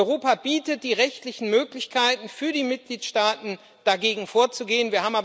Europa bietet die rechtlichen Möglichkeiten für die Mitgliedstaaten, dagegen vorzugehen.